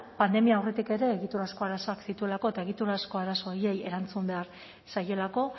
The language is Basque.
pandemia aurretik ere egiturazko arazoak zituelako eta egiturazko arazo horiei erantzun behar zaielako